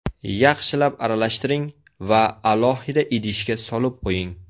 Yaxshilab aralashtiring va alohida idishga solib qo‘ying.